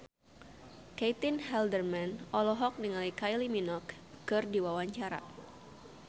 Caitlin Halderman olohok ningali Kylie Minogue keur diwawancara